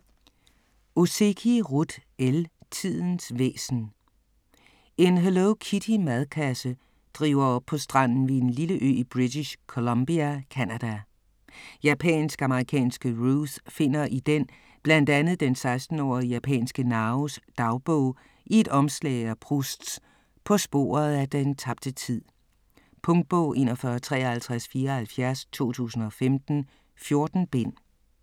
Ozeki, Ruth L.: Tidens væsen En Hello Kitty-madkasse driver op på stranden ved en lille ø i British Columbia, Canada. Japansk-amerikanske Ruth finder i den blandt andet den 16-årige japanske Naos dagbog i et omslag af Prousts "På sporet af den tabte tid". Punktbog 415374 2015. 14 bind.